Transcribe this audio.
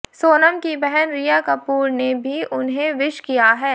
सोनम की बहन रिया कपूर ने भी उन्हें विश किया है